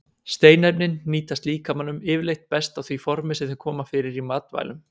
Steinefnin nýtast líkamanum yfirleitt best á því formi sem þau koma fyrir í matvælum.